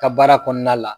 Ka baara kɔnɔna la